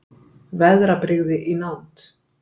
Veðrabrigði í nánd